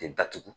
Datugu